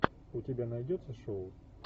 у тебя найдется шоу